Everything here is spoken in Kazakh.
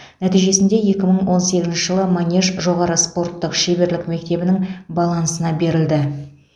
нәтижесінде екі мың он сегізінші жылы манеж жоғары спорттық шеберлік мектебінің балансына берілді